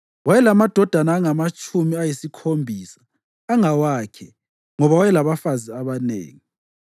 Wayelamadodana angamatshumi ayisikhombisa angawakhe ngoba wayelabafazi abanengi.